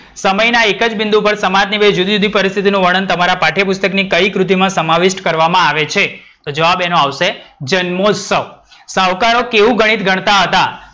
સમયના એક જ બિંદુ પર સામાની બે જુદીજુદી પરિસ્થિતી નું વર્ણન તમારા પાઠ્યપુસ્તકની કઈ કૃતિમાં સમાવીત કરવામાં આવે છે? તો જવાબ એનો આવશે જન્મોસ્તવ. સાવકારો કેવું ગણિત ગણતાં હતા?